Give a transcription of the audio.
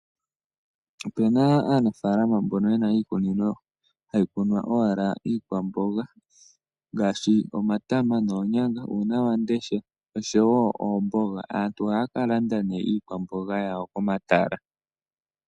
Ope na aanafalama mboka yena iikunino hayi kunwa owala iikwamboga ngaashi omatama noonyanga, nuunawamundesha noshowo oomboga. Aantu ohaya ka landa nee iikwamboga yawo komatala.